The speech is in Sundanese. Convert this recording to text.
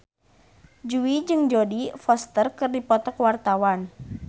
Jui jeung Jodie Foster keur dipoto ku wartawan